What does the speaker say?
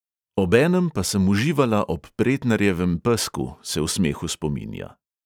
Obenem pa sem uživala ob pretnarjevem pesku, se v smehu spominja.